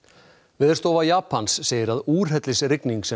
Veðurstofa Japans segir að úrhellisrigning sem